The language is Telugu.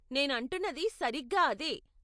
నేను అంటున్నది సరిగ్గా అదే.